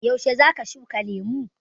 Yaushe za ka shuka lemu?